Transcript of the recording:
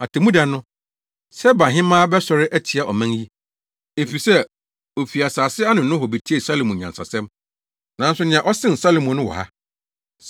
Atemmuda no, Sebahemmea bɛsɔre atia ɔman yi, efisɛ ofi asase ano nohɔ betiee Salomo nyansa nsɛm. Nanso nea ɔsen Salomo no wɔ ha.